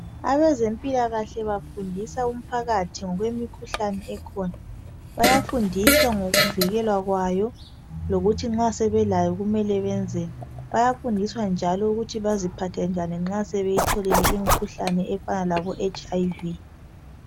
Abezempilakahle bafundisa umphakathi ngokwemikhuhlane ekhona bayafundiswa ngokuvikelwa kwayo lokuthi nxa sebelayo kumele benzeni bayafundiswa njalo ukuthi baziphathe njani nxa sebeyitholile imikhuhlane efana labo HIV.